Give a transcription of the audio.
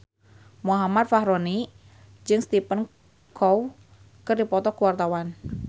Muhammad Fachroni jeung Stephen Chow keur dipoto ku wartawan